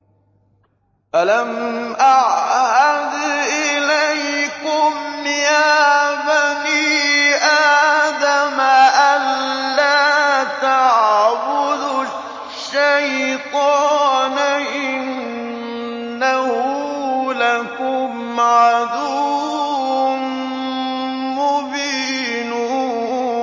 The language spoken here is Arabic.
۞ أَلَمْ أَعْهَدْ إِلَيْكُمْ يَا بَنِي آدَمَ أَن لَّا تَعْبُدُوا الشَّيْطَانَ ۖ إِنَّهُ لَكُمْ عَدُوٌّ مُّبِينٌ